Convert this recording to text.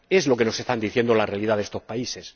Es lo que nos está diciendo la realidad de estos países.